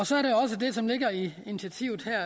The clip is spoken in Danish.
så er der også det som ligger i initiativet her